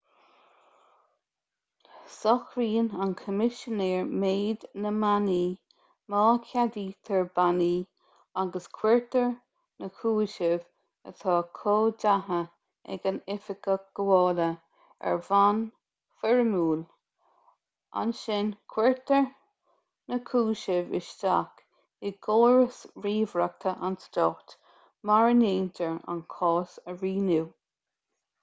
socraíonn an coimisinéir méid na mbannaí má cheadaítear bannaí agus cuirtear na cúisimh atá comhdaithe ag an oifigeach gabhála ar bhonn foirmiúil ansin cuirtear na cúisimh isteach i gcóras ríomhaireachta an stáit mar a ndéantar an cás a rianú